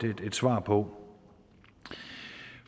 svar på